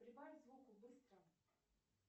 прибавь звуку быстро